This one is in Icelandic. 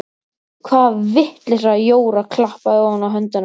Hvaða vitleysa Jóra klappaði ofan á hendurnar.